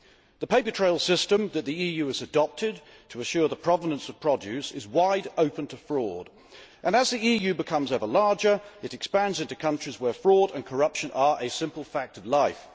The paper trail system that the EU has adopted to ensure the provenance of produce is wide open to fraud, and as the EU becomes ever larger it expands into countries where fraud and corruption are a simple fact of life.